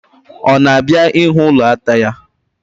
Ọ na-abịa ịhụ ụlọ ata ya?